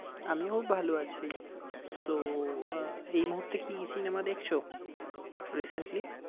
আমিও ভালো আছি। So আহ এই মুহূর্তে কি cinema দেখছো recently?